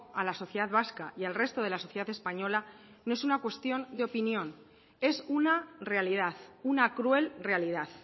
a la sociedad vasca y al resto de la sociedad española no es una cuestión de opinión es una realidad una cruel realidad